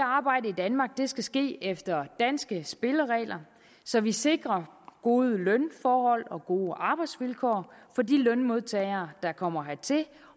arbejdet i danmark skal ske efter danske spilleregler så vi sikrer gode lønforhold og gode arbejdsvilkår for de lønmodtagere der kommer hertil